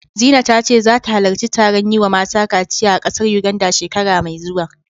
Zina ta ce zata halarci taron yi wa mata kaciya a ƙasar Yuganda, shekara mai zuwa.